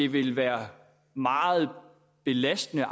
vil være meget belastende